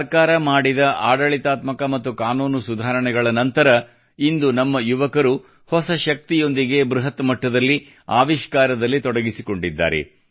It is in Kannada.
ಸರ್ಕಾರವು ಮಾಡಿದ ಆಡಳಿತಾತ್ಮಕ ಮತ್ತು ಕಾನೂನು ಸುಧಾರಣೆಗಳ ನಂತರ ಇಂದು ನಮ್ಮ ಯುವಕರು ಹೊಸ ಶಕ್ತಿಯೊಂದಿಗೆ ಬೃಹತ್ ಮಟ್ಟದಲ್ಲಿ ಆವಿಷ್ಕಾರದಲ್ಲಿ ತೊಡಗಿಸಿಕೊಂಡಿದ್ದಾರೆ